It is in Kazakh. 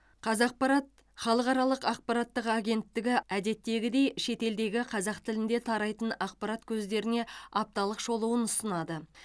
қазақпарат халықаралық ақпараттық агенттігі әдеттегідей шетелдегі қазақ тілінде тарайтын ақпарат көздеріне апталық шолуын ұсынады